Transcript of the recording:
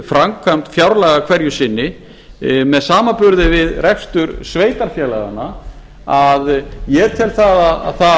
framkvæmd fjárlaga hverju sinni með samanburði við rekstur sveitarfélaganna að ég tel að það